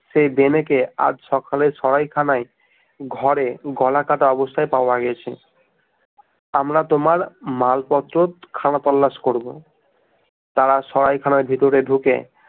সে ভেনে কে আজ সকালে সরাইখানায় ঘরে গলা কাটা অবস্থায় পাওয়া গেছে আমরা তোমার মাল পত্র খাওয়া তল্লাশ করব তারা সরাইখানার ভিতরে ঢুকে